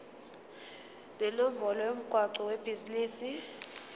nenombolo yomgwaqo webhizinisi